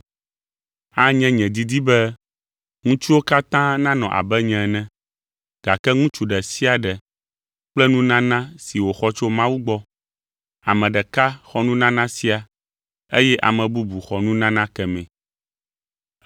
Anye nye didi be ŋutsuwo katã nanɔ abe nye ene, gake ŋutsu ɖe sia ɖe kple nunana si wòxɔ tso Mawu gbɔ; ame ɖeka xɔ nunana sia eye ame bubu xɔ nunana kemɛ.